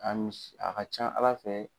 a ka can Ala fɛ